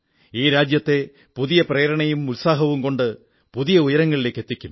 ഈ രാജ്യത്തെ പുതിയ പ്രേരണയും ഉത്സാഹവും കൊണ്ട് പുതിയ ഉയരങ്ങളിലേക്കെത്തിക്കും